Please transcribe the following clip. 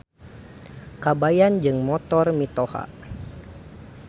Kabayan Jeung Motor Mitoha.